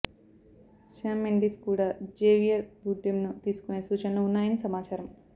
Shyam Mendes కూడా Javier బార్డెమ్ను తీసుకునే సూచనలు ఉన్నాయని సమాచారం